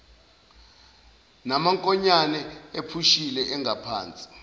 namankonyane ephusile angaphansi